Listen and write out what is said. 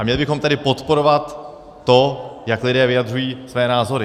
A měli bychom tedy podporovat to, jak lidé vyjadřují své názory.